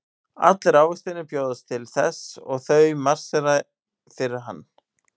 Allir ávextirnir bjóðast til þess og þau marsera fyrir hann.